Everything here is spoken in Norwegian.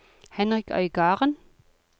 Henrik Øygarden